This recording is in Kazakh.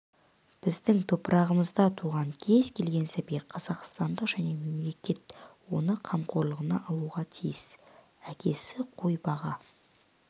біздің топырағымызда туған кез келген сәби қазақстандық және мемлекет оны қамқорлығына алуға тиіс әкесі қой баға